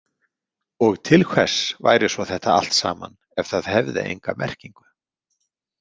Og til hvers væri svo þetta allt saman ef það hefði enga merkingu?